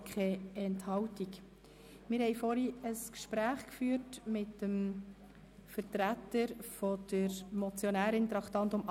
Wir haben vorhin betreffend das Traktandum 88 ein Gespräch mit dem Vertreter der Motionärin geführt.